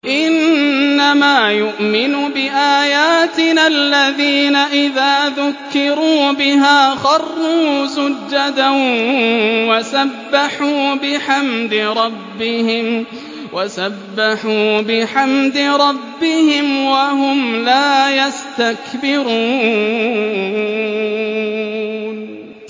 إِنَّمَا يُؤْمِنُ بِآيَاتِنَا الَّذِينَ إِذَا ذُكِّرُوا بِهَا خَرُّوا سُجَّدًا وَسَبَّحُوا بِحَمْدِ رَبِّهِمْ وَهُمْ لَا يَسْتَكْبِرُونَ ۩